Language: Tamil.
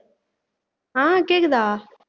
ஆஹ் கேக்குதா